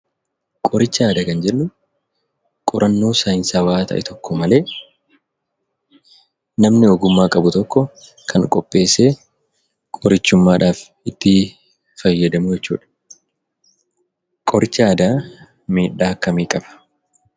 Qorichaa aadaa kan jennu qorannoo saayinsaawaa ta'e tokko malee namni ogummaa qabu tokko kan qopheessee, qorichummaadhaaf itti fayyadamnu jechuudha. Qorichi aadaa miidhaa akkamii qaba?